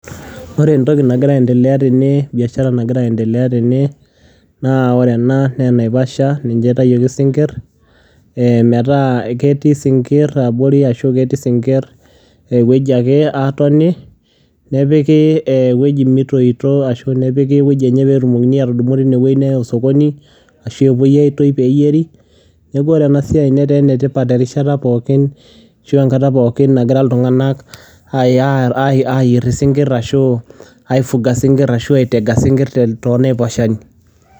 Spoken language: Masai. Wore entoki nagira aendelea tene, biashara nagira aendelea tene naa wore ena naa enaiposha, naitayioki isingir metaa ketii isingir abori ashu ketii isingir ineweji ake aatoni, nipiki ineweji metoito ashu nepiki eweji enye peetumokini atudumu tine weji awaita osokoni ashu epoi aitoi peeyieri. Niaku wore enasiai netaa enetipat erishata pookin ashu enkata pookin nagira iltunganak aayier isingir ashu , aifunga isingir ashu ai teiga isingir too naiposha.